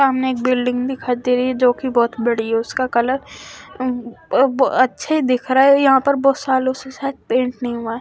सामने एक बिल्डिंग दिखाई दे रही है जो कि बहुत बड़ी है उसका कलर अ ब अच्छे दिख रहा है यहाँ पर बहुत सालों से शायद पेंट नहीं हुआ।